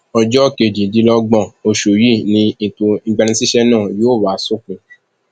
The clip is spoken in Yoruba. ọjọ kejìdínlọgbọn oṣù yìí ni ètò ìgbanisíṣẹ náà yóò wá sópin